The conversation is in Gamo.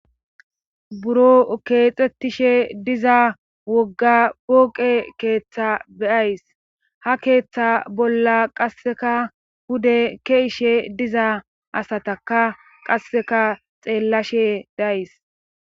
buro keexettishe diza wogga pooqe keeththa be'ayis ha keeththa bolla qasseka hude ke'ishe diza asataka qasseka xeellashe days